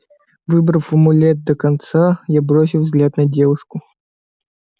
выбрав амулет до конца я бросил взгляд на девушку